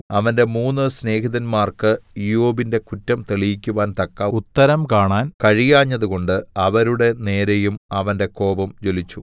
അവന്റെ മൂന്ന് സ്നേഹിതന്മാർക്ക് ഇയ്യോബിന്റെ കുറ്റം തെളിയിക്കുവാൻ തക്ക ഉത്തരം കാണാൻ കഴിയാഞ്ഞതുകൊണ്ട് അവരുടെ നേരെയും അവന്റെ കോപം ജ്വലിച്ചു